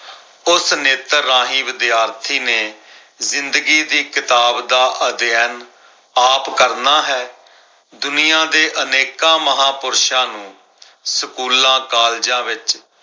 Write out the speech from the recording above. ਉਸ ਨੇਤਰ ਰਾਹੀਂ ਵਿਦਿਆਰਥੀ ਨੇ ਜ਼ਿੰਦਗੀ ਦੀ ਕਿਤਾਬ ਦਾ ਅਧਿਐਨ ਆਪ ਕਰਨਾ ਹੈ। ਦੁਨੀਆਂ ਦੇ ਅਨੇਕਾਂ ਮਹਾਪੁਰਸ਼ਾਂ ਨੂੰ ਸਕੂਲਾਂ, ਕਾਲਜਾਂ ਵਿੱਚ